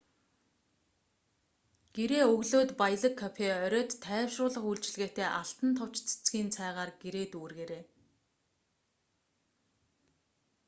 гэрээ өглөөд баялаг кофе оройд тайвшруулах үйлчилгээтэй алтан товч цэцгийн цайгаар гэрээ дүүргээрэй